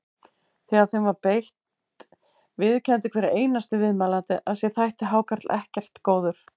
Þegar þeim var beitt viðurkenndi hver einasti viðmælandi að sér þætti hákarl ekkert góður.